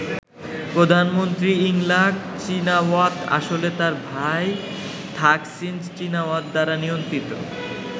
প্রধানমন্ত্রী Yingluck Shinawatra আসলে তাঁর ভাই থাকসিন চীনাওয়াত দ্বারা নিয়ন্ত্রিত।